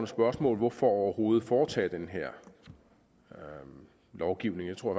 spørgsmål hvorfor overhovedet foretage den her lovgivning jeg tror